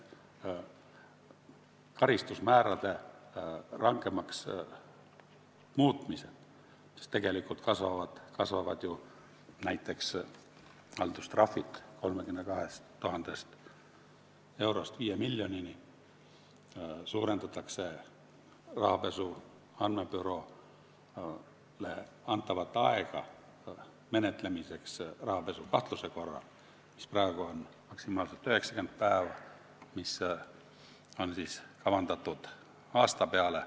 Karistusmäärad muudetakse rangemaks, näiteks kasvavad haldustrahvid 32 000 eurost 5 miljonini, ja pikendatakse rahapesu andmebüroole menetlemiseks antavat aega rahapesukahtluse korral, praegu on see maksimaalselt 90 päeva, see on kavandatud pikenema aasta peale.